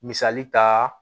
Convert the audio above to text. Misali ta